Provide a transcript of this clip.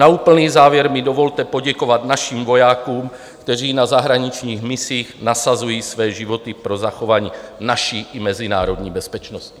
Na úplný závěr mi dovolte poděkovat našim vojákům, kteří na zahraničních misích nasazují své životy pro zachování naší i mezinárodní bezpečnosti.